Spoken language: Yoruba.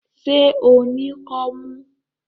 Ṣé o ní kọ́mú?